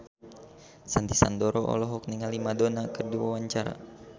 Sandy Sandoro olohok ningali Madonna keur diwawancara